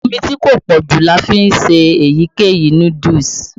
Omí tí kò pọ́jù ni a fi ń se èyíkéyìí núdúùsù.